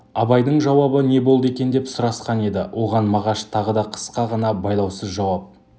абайдың жауабы не болды екен деп сұрасқан еді оған мағаш тағы да қысқа ғана байлаусыз жауап